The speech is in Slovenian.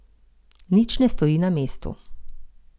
Nič ne stoji na mestu.